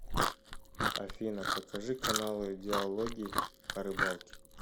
афина покажи каналы диалоги о рыбалке